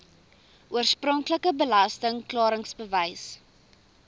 oorspronklike belasting klaringsbewys